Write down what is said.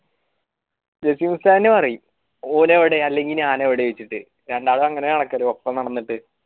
പറീ ഓനെവിടെ എല്ലെങ്കിൽ ഞാൻ എവിടെ വെച്ചിട്ട് രണ്ടാളും അങ്ങനെ നടക്കല് ഒപ്പം വെച്ചിട്ട്